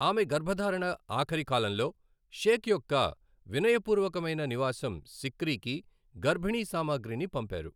ఆమె గర్భధారణ ఆఖరి కాలంలో షేక్ యొక్క వినయపూర్వకమైన నివాసం సిక్రీకి గర్భిణీ సామాగ్రిని పంపారు.